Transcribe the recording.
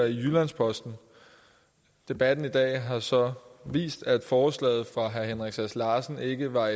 i jyllands posten debatten i dag har så vist at forslaget fra herre henrik sass larsen ikke var